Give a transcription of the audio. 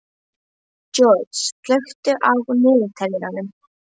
George, slökktu á niðurteljaranum.